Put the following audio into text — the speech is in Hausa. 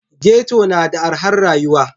Ghetto na da arhar rayuwa